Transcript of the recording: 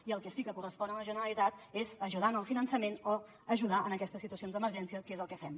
i el que sí que correspon a la generalitat és ajudar en el finançament o ajudar en aquestes situacions d’emergència que és el que fem